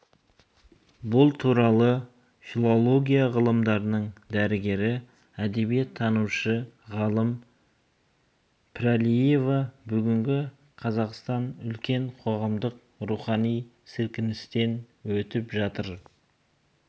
бұл туралы филология ғылымдарының дәрігері әдебиеттанушы ғалым піралиева бүгінгі қазақстан үлкен қоғамдық рухани сілкіністен өтіп жатыр